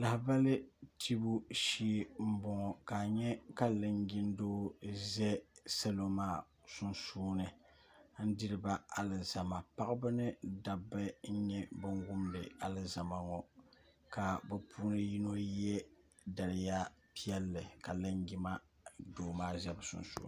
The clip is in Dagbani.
lahibali tibu shee m-bɔŋɔ ka a nya ka linjindoo za salo maa sunsuuni n diri ba alizama paɣaba ni dabba n nyɛ ban wumdi alizama ŋɔ ka bɛ puuni yino ye daliya piɛlli ka linjima doo maa sa bɛ sunsuuni